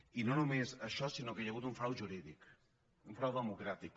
i no només això sinó que hi ha hagut un frau jurídic un frau democràtic